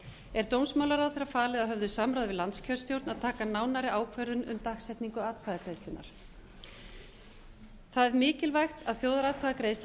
er dómsmálaráðherra falið að höfðu samráði við landskjörstjórn að taka nánari ákvörðun um dagsetningu atkvæðagreiðslunnar það er mikilvægt að þjóðaratkvæðagreiðslan